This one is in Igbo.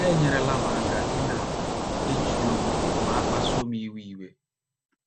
Ha enyerela m aka ịna - ejide onwe m ma a kpasuo m iwe iwe.